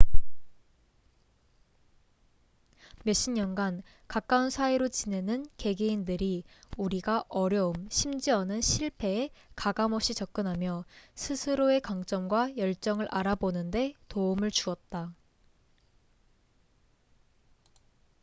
몇 십년 간 가까운 사이로 지내는 개개인들이 우리가 어려움 심지어는 실패에 가감 없이 접근하며 스스로의 강점과 열정을 알아보는 데 도움을 주었다